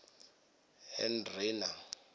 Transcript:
hendrina